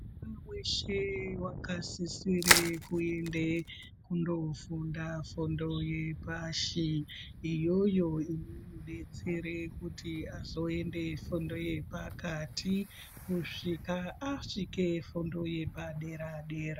Muntu weshe wakasisire kuende kundo funda fundo yepashi iyoyo inomudetsere kuti azoende fundo yepakati kusvika asvika fundo yepa dera dera.